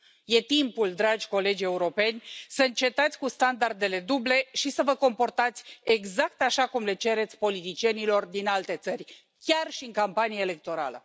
E timpul, dragi colegi europeni, să încetați cu standardele duble și să vă comportați exact așa cum le cereți politicienilor din alte țări, chiar și în campanie electorală.